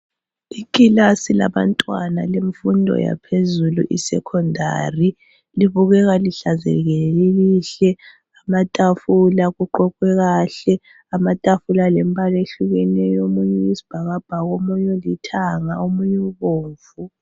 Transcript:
Ikilasi labantwana bemfundo yaphezulu isekhondali libukeka lihlanzekile, lilihle lamatafula kuqoqwe kahle. Amatafula alembala ehlukeneyo omunye oyisibhakabhaka, omunye ulithanga, omunye ubomvu.